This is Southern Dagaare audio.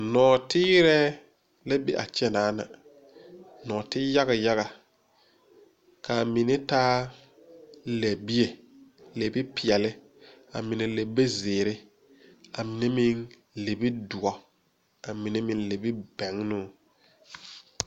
Nɔɔteerɛ la be a kyɛ, nɔɔte yaga yaga kaa mine taa lɛbie lɛbi peɛle a mine lɛbi ziiri a mine meŋ lɛbi dɔ a mine meŋ lɛbi bɛnnoo.